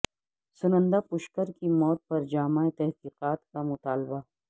سنندا پشکر کی موت پر جامع تحقیقات کا مطالبہ